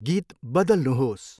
गीत बदल्नुहोस्।